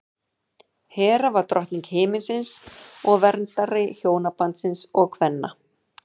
hera var drottning himinsins og verndari hjónabandsins og kvenna